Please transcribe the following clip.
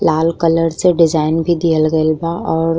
लाल colour से design भी दियल गइल बा और --